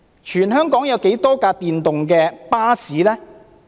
全香港有多少輛電動巴士呢？